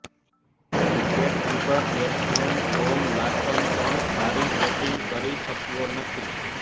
wicketkeeper batsman Tom Latham પણ સારી batting કરી શક્યો નથી